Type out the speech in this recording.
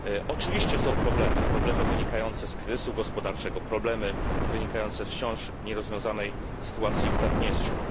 Oczywiście istnieją problemy problemy wynikające z kryzysu gospodarczego, problemy wynikające z wciąż nierozwiązanej sytuacji w Naddniestrzu.